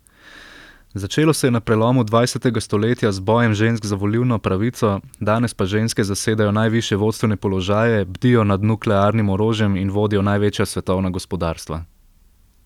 Začelo se je na prelomu dvajsetega stoletja z bojem žensk za volilno pravico, danes pa ženske zasedajo najvišje vodstvene položaje, bdijo nad nuklearnim orožjem in vodijo največja svetovna gospodarstva.